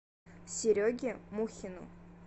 сереге мухину